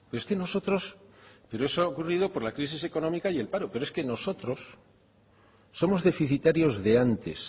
eso ha ocurrido por la crisis económica y el paro pero es que nosotros somos deficitarios de antes